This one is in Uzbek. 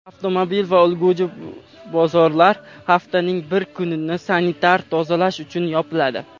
avtomobil va ulgurji bozorlar haftaning bir kunini sanitar-tozalash uchun yopiladi;.